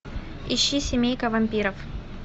ищи семейка вампиров